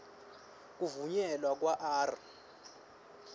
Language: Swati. kuvunyelwa kwa r